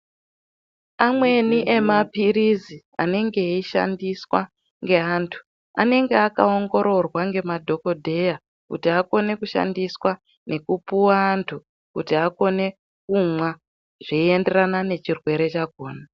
Amweni ema pirizi anenge eyi shandiswa nge antu anenge aka ongororwa nge madhokodheya kuti akone ku shandiswa neku puwa antu kuti akone kumwa zvei enderana ne chirwere chakona.